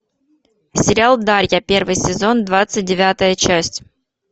сериал дарья первый сезон двадцать девятая часть